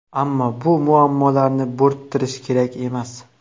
Ammo bu muammolarni bo‘rttirish kerak emas.